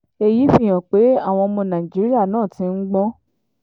èyí fi hàn pé àwọn ọmọ nàìjíríà náà ti ń gbọ́n